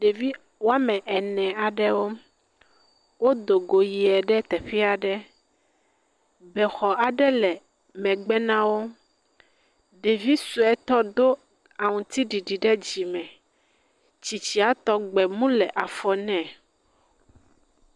Ɖevi woame ene aɖewo. Wodo go yie ɖe teƒe aɖe. Be xɔ aɖe le megbe nawò. Ɖevi sue tɔ do awu aŋutiɖiɖi ɖe dzime. Tsitsia tɔ gbemu le afɔ me.